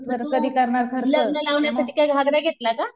तू लग्न लावण्यासाठी काय घागरा घेतला का?